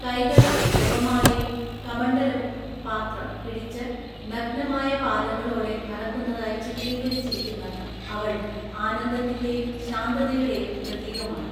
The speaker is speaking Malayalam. കൈകളിൽ ജപമാലയും കമണ്ഡലവും (പാത്രം) പിടിച്ച് നഗ്നമായ പാദങ്ങളോടെ നടക്കുന്നതായി ചിത്രീകരിച്ചിരിക്കുന്ന അവൾ ആനന്ദത്തിന്റെയും ശാന്തതയുടെയും പ്രതീകമാണ്.